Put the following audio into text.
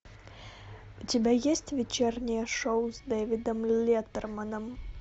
у тебя есть вечернее шоу с дэвидом леттерманом